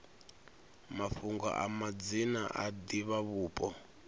mafhungo a madzina a divhavhupo